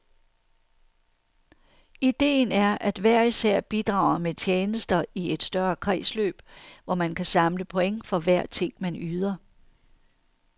Ideen er, at hver især bidrager med tjenester i et større kredsløb, hvor man kan samle point for hver ting, man yder.